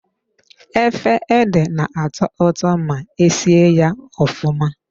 Efe ede na-atọ ụtọ ma e sie ya ofụma.